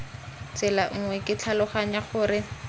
tsela nngwe ke tlhaloganya gore